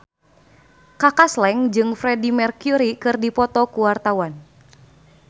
Kaka Slank jeung Freedie Mercury keur dipoto ku wartawan